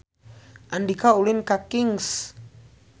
Andika ulin ka Kings